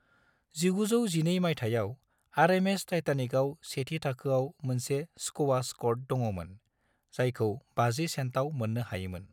1912 मायथाइयाव, आरएमएस टाइटेनिकआव सेथि-थाखोआव मोनसे स्क्वास क'र्ट दङमोन, जायखौ 50 सेन्टाव मोननो हायोमोन।